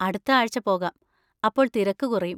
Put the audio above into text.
അടുത്ത ആഴ്ച പോകാം, അപ്പോൾ തിരക്ക് കുറയും.